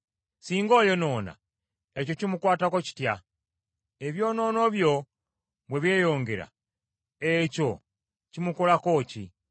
Singa oyonoona ekyo kimukwatako kitya? Ebyonoono byo bwe byeyongera, ekyo kimukolako ki?